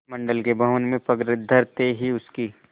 मंडल के भवन में पग धरते ही उसकी